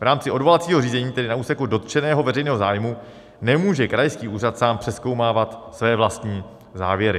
V rámci odvolacího řízení tedy na úseku dotčeného veřejného zájmu nemůže krajský úřad sám přezkoumávat své vlastní závěry.